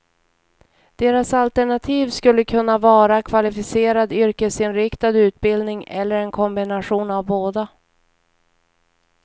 Deras alternativ skulle kunna vara kvalificerad yrkesinriktad utbildning eller en kombination av båda.